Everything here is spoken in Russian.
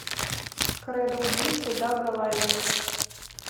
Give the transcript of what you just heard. кредо убийцы дага лаймона